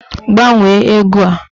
Gbanwee ego a!